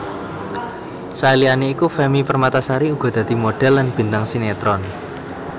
Saliyane iku Femmy Permatasari uga dadi modhél lan bintang sinetron